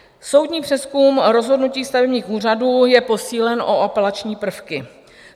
Soudní přezkum rozhodnutí stavebních úřadů je posílen o apelační prvky.